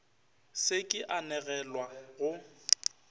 se ke a anegelwa go